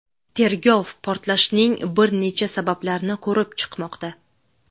Tergov portlashning bir necha sabablarini ko‘rib chiqmoqda.